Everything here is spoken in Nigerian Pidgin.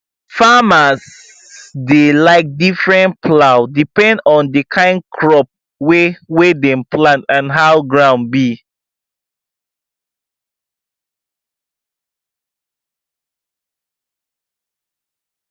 farmers dey like different plow depend on the kind crop wey wey dem plant and how ground be